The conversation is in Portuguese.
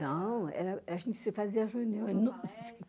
Não, a gente se fazia reunião.